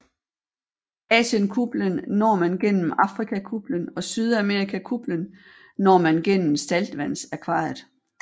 Asienkuplen når man gennem Afrikakuplen og Sydamerikakuplen når man gennem saltvandsakvariet